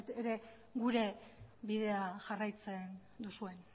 ere gure bidea jarraitzen duzuen